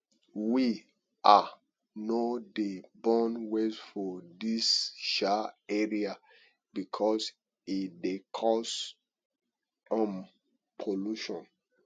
we um no dey burn waste for dis um area because e dey cause um pollution